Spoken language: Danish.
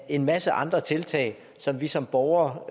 en masse andre tiltag som vi som borgere